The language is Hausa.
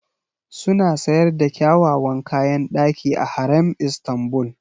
Suna sayar da kyawawan kayan ɗaki a Harem Istanbul.